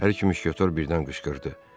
Hər iki müşketiyor birdən qışqırdı.